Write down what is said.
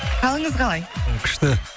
қалыңыз қалай күшті